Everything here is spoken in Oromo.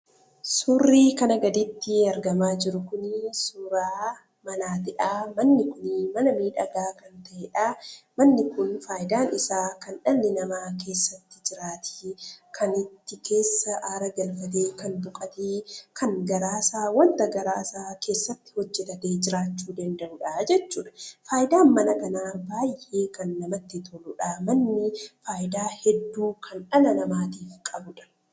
Suurri kana gaditti argamaa jiru Kun suuraa manaatidha. Manni Kun mana miidhagaa kan ta'eedha. Manni Kun faayidaan isaa kan dhalli namaa keessatti jiraatee, kan achi keessa haara galfatee, kan boqotee kan waanta garaa isaa keessatti hojjetatee jiraachuu danda'udha jechuudha. Faayidaan mana kanaa baayyee kan namatti toludha. Manni fayidaa hedduu kan dhala namaatiif qabudha.